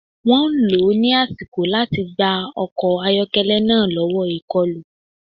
Wọ́n lò ó ní àsìkò láti gba ọkọ̀ ayọ́kẹ́lẹ́ náà lọ́wọ́ ìkọlù